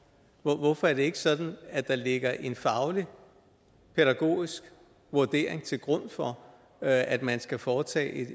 hvorfor er det ikke sådan at der ligger en faglig pædagogisk vurdering til grund for at man skal foretage